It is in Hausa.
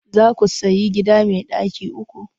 Za ku sayi gida mai ɗaki uku?